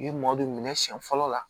Yiri mɔdɛli minɛ siyɛn fɔlɔ la